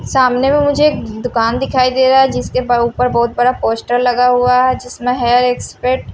सामने में मुझे दुकान दिखाई दे रहा है जिसके ऊपर बहोत बड़ा पोस्टर लगा हुआ है जिसमें हेयर एक्सपेक्ट --